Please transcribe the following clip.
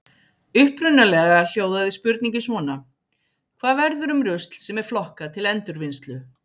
Upprunalega hljóðaði spurningin svona: Hvað verður um rusl sem er flokkað til endurvinnslu?